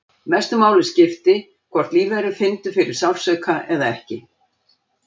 Mestu máli skipti hvort lífverur fyndu til sársauka eða ekki.